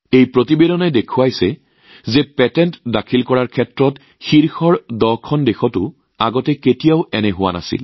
এই প্ৰতিবেদনে দেখুৱাইছে যে পেটেণ্ট দাখিলৰ ক্ষেত্ৰত অগ্ৰণী শীৰ্ষ ১০খন দেশতো ইয়াৰ আগতে কেতিয়াও হোৱা নাই